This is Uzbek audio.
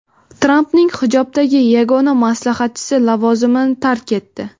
Trampning hijobdagi yagona maslahatchisi lavozimini tark etdi.